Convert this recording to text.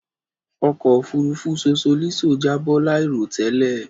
Òkò òfúrùfú Sosolíso jàbọ láìrọ̀ tẹ́lẹ̀